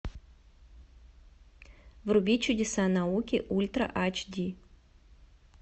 вруби чудеса науки ультра айч ди